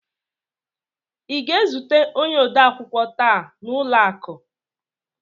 ị ga-ezute onye odeakwụkwọ taa n'ụlọ akụ?